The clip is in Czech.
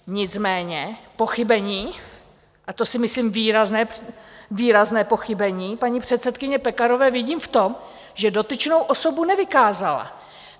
Nicméně pochybení, a to si myslím výrazné pochybení, paní předsedkyně Pekarové vidím v tom, že dotyčnou osobu nevykázala.